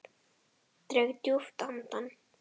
Dreg djúpt andann.